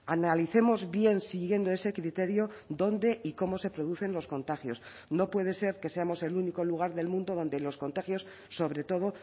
analicemos bien siguiendo ese criterio dónde y cómo se producen los contagios no puede ser que seamos el único lugar del mundo donde los contagios sobre todo